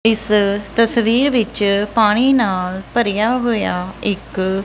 ਇਸ ਤਸਵੀਰ ਵਿੱਚ ਪਾਣੀ ਨਾਲ ਭਰਿਆ ਹੋਇਆ ਇੱਕ --